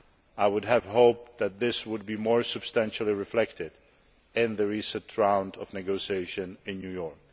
I would have hoped that this would be more substantially reflected in the recent round of negotiations in New York.